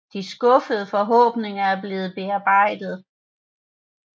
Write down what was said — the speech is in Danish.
De skuffede forhåbninger er blevet bearbejdet